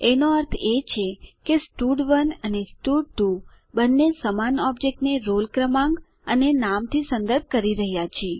એનો અર્થ એ છે કે સ્ટડ1 અને સ્ટડ2 બંને સમાન ઓબજેક્ટ ને રોલ ક્રમાંક અને નામ થી સંદર્ભ કરી રહ્યા છે